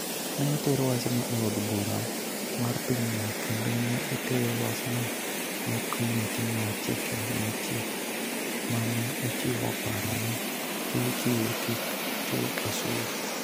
Ne oter wachno e od bura mar pinyno kendo ne oter wachno ne Komiti mar Chike Mochiki, ma ne ochiwo paro ni KQ kik chul osuru.